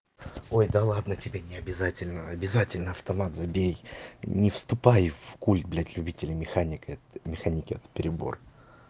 ой да ладно тебе не обязательно обязательно автомат забей не вступай в культ блять любителей механика механики это перебор